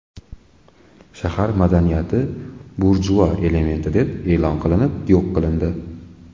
Shahar madaniyati burjua elementi deb e’lon qilinib, yo‘q qilindi.